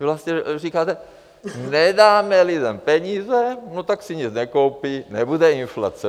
Vy vlastně říkáte: nedáme lidem peníze, no tak si nic nekoupí, nebude inflace.